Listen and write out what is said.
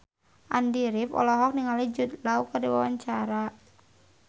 Andy rif olohok ningali Jude Law keur diwawancara